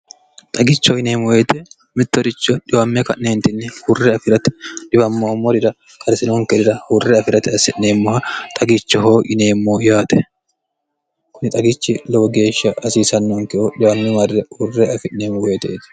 Xagichoho yineemmo woyte mittoricho xiwame ka'nentinni hurre afirate xiwamommorira hure afirate horonsi'neemmoha xagichoho yineemmo yaate kuni xagicho lowo geeshsha hasiisanonkehu xiwamme marre hurre afi'neemmo woyteti.